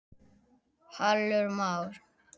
Hallur Már